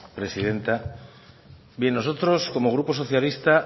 presidenta bien nosotros como grupo socialista